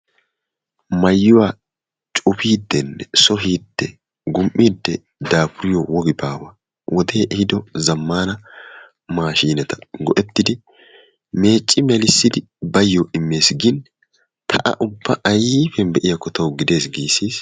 maayuwa cufidenne, sohidee, gum''ide daafuriyo wogi baawa wode ehido zammana maashineta go''ettidi meecci melissidi bayyo immees gin ta a ubba aypiyan be'iyakko taw gide giisiis.